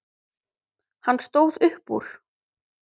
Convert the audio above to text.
Hann stóð upp úr.